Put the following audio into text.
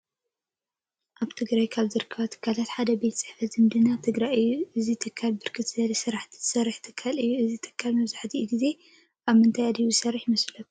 አብ ትግራየ ካብ ዝርከባ ትካላት ሓደ ቤት ፅሕፈት ዝመድናታተ ትግራይ እዩ። እዚ ትካለ ብርክት ዝበለ ሰራሕቲ ዝሰርሐ ትካለ እዩ። እዚ ትካል መብዛሕቲኡ ገዜ አብ ምንታይ አድሂቡ ዝሰርሕ ይመስለኩም?